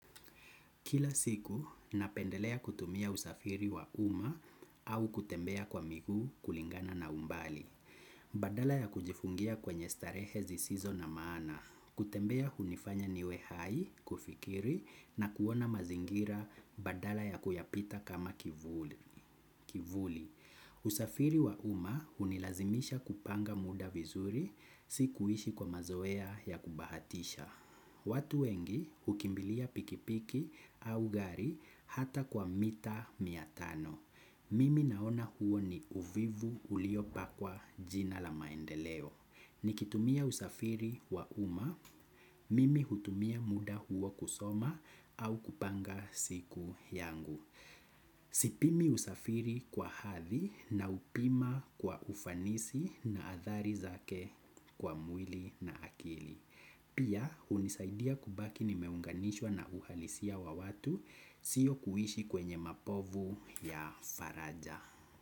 Kila siku, napendelea kutumia usafiri wa uma au kutembea kwa miguu kulingana na umbali. Badala ya kujifungia kwenye starehe zisizo na maana. Kutembea hunifanya niwe hai, kufikiri na kuona mazingira badala ya kuyapita kama kivuli. Usafiri wa uma unilazimisha kupanga muda vizuri, si kuishi kwa mazoea ya kubahatisha. Watu wengi ukimbilia pikipiki au gari hata kwa mita miatano. Mimi naona huo ni uvivu uliopakwa jina la maendeleo. Nikitumia usafiri wa uma, mimi hutumia muda huo kusoma au kupanga siku yangu. Sipimi usafiri kwa hadhi na upima kwa ufanisi na athari zake kwa mwili na akili. Pia unisaidia kubaki nimeunganishwa na uhalisia wa watu sio kuishi kwenye mapovu ya faraja.